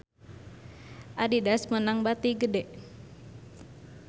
Adidas meunang bati gede